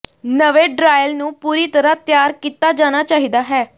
ਨਵੇਂ ਡਰਾਇਲ ਨੂੰ ਪੂਰੀ ਤਰ੍ਹਾਂ ਤਿਆਰ ਕੀਤਾ ਜਾਣਾ ਚਾਹੀਦਾ ਹੈ